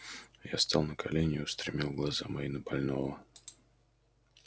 я стал на колени и устремил глаза мои на больного